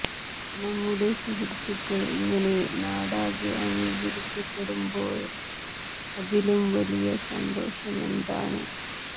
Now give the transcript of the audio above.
നമ്മുടെ സുഹൃത്തുക്കൾ ഇങ്ങനെ നാടാകെ അംഗീകരിക്കപ്പെടുമ്പോൾ അതിലും വലിയ സന്തോഷമെന്താണ്